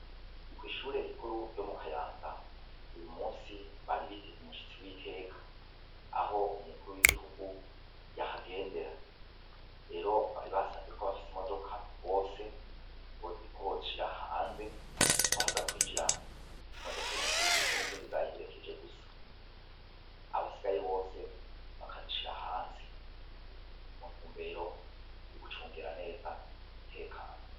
Kwishure rikuru ryo mu Kayanza uyu munsi bari biteze umushitsi witeka aho umukuru w'igihugu yahagendera rero bari basavye ko abafise imodoka bose ko bozishira hanze ko haza kwinjira imodoka y'umukuru w'igihugu n'izindi zayiherekeje gusa abasigaye bose bakazishira hanze mu ntumbero yo gucungera neza umutekano.